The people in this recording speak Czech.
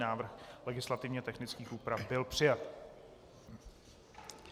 Návrh legislativně technických úprav byl přijat.